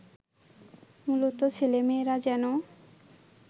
মূলত ছেলেমেয়েরা যেন